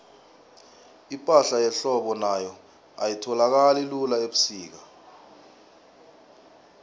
ipahla yehlobo nayo ayitholakali lula ubusika